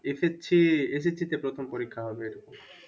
SSC তে প্রথম পরীক্ষা হবে।